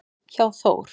hjá Þór.